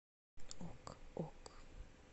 ок ок